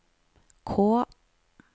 K